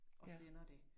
Og sender det